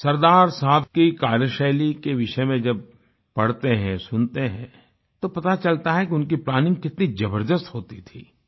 सरदार साहब की कार्यशैली के विषय में जब पढ़ते हैं सुनते हैं तो पता चलता है कि उनकी प्लानिंग कितनी जबरदस्त होती थी